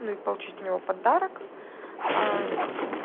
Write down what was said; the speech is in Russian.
ну и получить у него подарок